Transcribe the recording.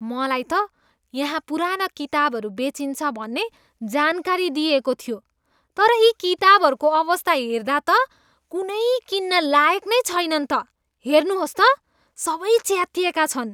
मलाई त यहाँ पुराना किताबहरू बेचिन्छ भन्ने जानकारी दिइएको थियो। तर यी किताबहरूको अवस्था हेर्दा त कुनै किन्न लायक नै छैनन् त! हेर्नुहोस् त, सबै च्यातिएका छन्।